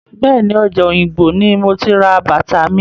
Bẹ́ẹ̀ni, ọjà Òyìngbò ní mo ti ra bàtà mi.